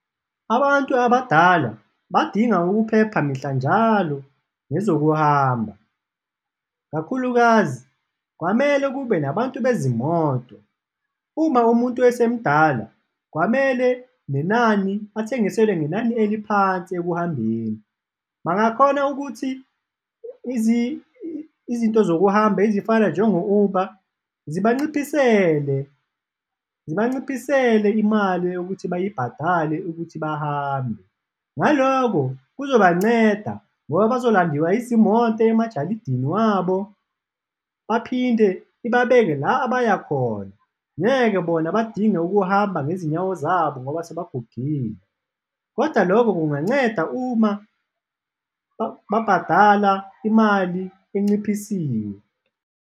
Abantu abadala badinga ukuphepha mihla njalo ngezokuhamba, kakhulukazi kwamele kube nabantu bezimoto, uma umuntu esemdala, kwamele nenani bathengiselwe ngenani eliphansi ekuhambeni. Bangakhona ukuthi izinto zokuhamba ezifana njengo-Uber zibanciphisele zibanciphisele imali eyokuthi bayibhadale ukuthi bahambe, ngaloko kuzoba nceda ngoba bazolandiwa izimoto emajalidini wabo baphinde ibabeke la abaya khona, ngeke bona badinge ukuhamba ngezinyawo zabo ngoba sebagugile kodwa loko kunganceda uma babhadala imali enciphisiwe.